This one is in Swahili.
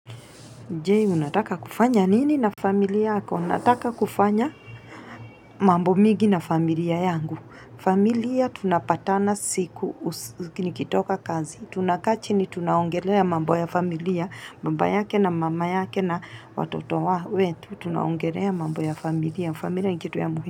Jee, unataka kufanya nini na familia yako? Unataka kufanya mambo migi na familia yangu. Familia tunapatana siku nikitoka kazi. Tunaka chini tunaongelea mambo ya familia, baba yake na mama yake na watoto wa wetu. Tunaongelea mambo ya familia. Familia nikitu ya muhimu.